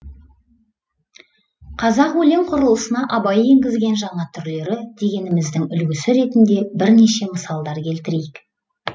қазақ өлең құрылысына абай енгізген жаңа түрлері дегеніміздің үлгісі ретінде бірнеше мысалдар келтірейік